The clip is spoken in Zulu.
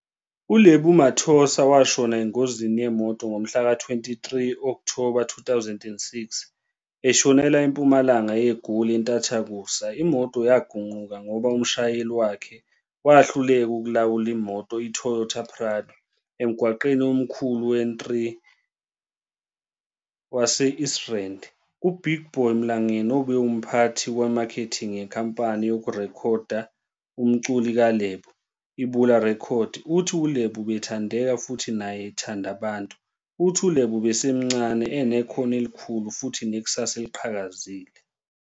uLebo Mathosa washona engozini yemoto ngo mhlaka 23 Okthoba 2006, eshonela empumalanga yeGoli enthathakusa, imoto yagunquka ngoba umshayeli wakhe wahluleka ukulawula imoto, iToyota Prado, emgwaqeni omkhulu weN3 yase East Rand. uBig Boy Mlangeni obe umphathi wemakhething yenkampani yokurekhoda umculo kaLebo, iBula Records, uthi uLebo ubethandeka futhi naye ethanda abantu, uthi uLebo ubesasemncane, enekhono elikhulu futhi nekusasa eliqhakazile.